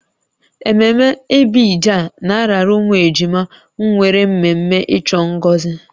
Ememme ibeji a na-arara ụmụ ejima nwere mmemme ịchọ ngozi